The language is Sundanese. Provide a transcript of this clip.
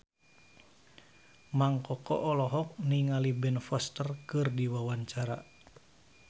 Mang Koko olohok ningali Ben Foster keur diwawancara